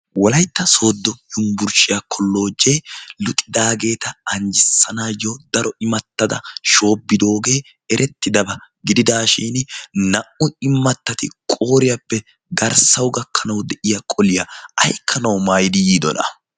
wolaytta soodo yumbburshshiyaa kolojee luxidaageeta anjjissanaayyo daro imattada shoobidoogee erettidabaa gididaashin naa"u immattati qooriyaappe garssau gakkanau de'iya qoliyaa aikkanau maayidi yiidona.